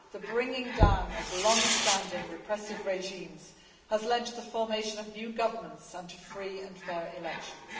The bringing down of longstanding repressive regimes has led to the formation of new governments and to free and fair elections.